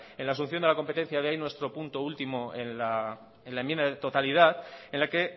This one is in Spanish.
en la solución de la competencia de ahí nuestro punto último en la enmienda de totalidad en la que